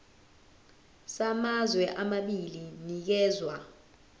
samazwe amabili sinikezwa